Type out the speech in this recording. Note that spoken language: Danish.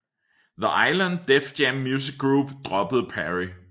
The Island Def Jam Music Group droppede Perry